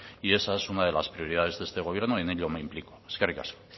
y esa es una de las prioridades de este gobierno y en ello me implico eskerrik asko